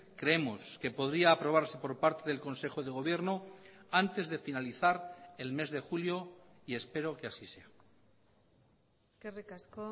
creemos que podría aprobarse por parte del consejo de gobierno antes de finalizar el mes de julio y espero que así sea eskerrik asko